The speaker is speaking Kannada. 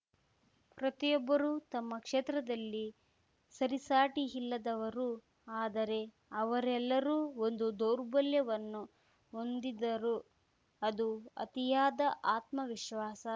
ಪ್ರತಿಯೊಬ್ಬರೂ ತಮ್ಮ ಕ್ಷೇತ್ರದಲ್ಲಿ ಸರಿಸಾಟಿಯಿಲ್ಲದವರು ಆದರೆ ಅವರೆಲ್ಲರೂ ಒಂದು ದೌರ್ಬಲ್ಯವನ್ನು ಹೊಂದಿದ್ದರು ಅದು ಅತಿಯಾದ ಆತ್ಮವಿಶ್ವಾಸ